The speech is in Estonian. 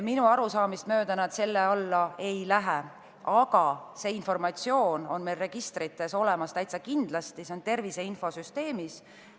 Minu arusaamist mööda nad selle alla ei lähe, aga see informatsioon on meil registrites täitsa kindlasti olemas, see on olemas tervise infosüsteemis.